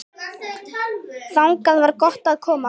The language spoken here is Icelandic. Þangað var gott að koma.